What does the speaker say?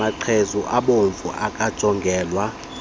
maqhezu abomvu akajongelwa